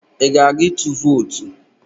Ị ga-aga ịtụ vootu?